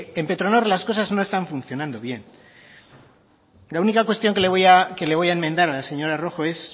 en petronor las cosas no están funcionando bien la única cuestión que le voy a enmendar a la señora rojo es